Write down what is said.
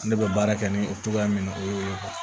Ne bɛ baara kɛ ni o togoya min na o y'o ye